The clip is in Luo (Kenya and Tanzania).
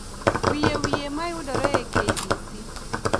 wiye wiye ma yudore e k. b. c.